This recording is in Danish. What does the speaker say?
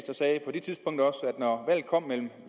når valget kom mellem